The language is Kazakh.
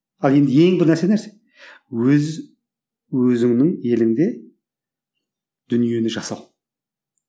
ал енді ең бір нәрсе нәрсе өз өзіңнің еліңде дүниені жасау